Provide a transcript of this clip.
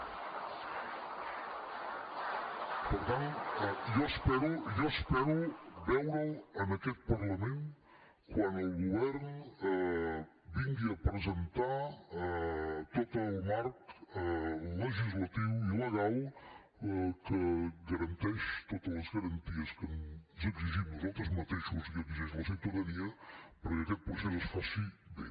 per tant jo espero jo espero veure’l en aquest parlament quan el govern vingui a presentar tot el marc legislatiu i legal que garanteix totes les garanties que ens exigim nosaltres mateixos i que exigeix la ciutadania perquè aquest procés es faci bé